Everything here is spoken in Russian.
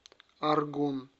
аргун